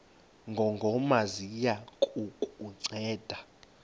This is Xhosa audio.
ngongoma ziya kukunceda